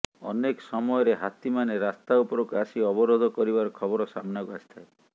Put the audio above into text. ଅନେକ ସମୟରେ ହାତୀମାନେ ରାସ୍ତା ଉପରକୁ ଆସି ଅବରୋଧ କରିବାର ଖବର ସାମନାକୁ ଆସିଥାଏ